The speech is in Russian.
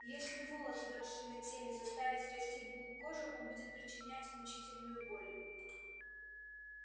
если волос выросший на теле заставить расти в глубь кожи он будет причинять мучительную боль